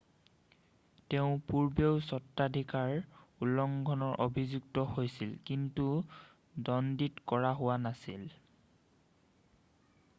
তেওঁ পূৰ্বেও স্বত্বাধিকাৰ উলংঘনৰ অভিযুক্ত হৈছিল কিন্তু দ্বন্দীত কৰা হোৱা নাছিল